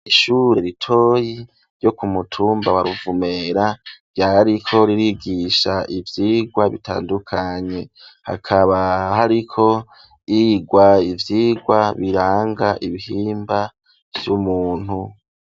Ishure ritoyi, ryo ku mutumba wa Ruvumera, ryariko ririgisha, ivyigwa bitandukanye; hakaba hariko higwa, ivyigwa biranga, ibihimba vy'umuntu.